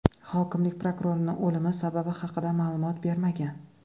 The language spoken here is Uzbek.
Hokimlik prokurorning o‘limi sababi haqida ma’lumot bermagan.